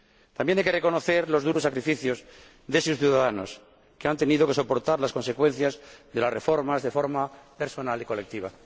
También hay que reconocer los duros sacrificios de sus ciudadanos, que han tenido que soportar las consecuencias de las reformas de forma personal y colectiva.